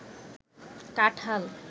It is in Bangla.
কাঠাল